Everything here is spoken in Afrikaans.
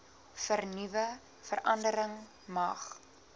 vernuwe verandering mag